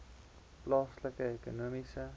plaaslike ekonomiese